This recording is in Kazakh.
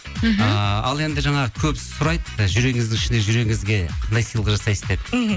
ыыы ал енді жаңағы көп сұрайды жүрегіңіздің ішіндегі жүрегіңізге қандай сыйлық жасайсыз деп мхм